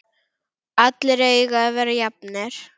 Allir eiga að vera jafnir.